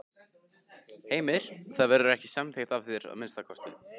Heimir: Það verður ekki samþykkt af þér, að minnsta kosti?